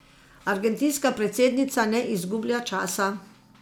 Argentinska predsednica ne izgublja časa.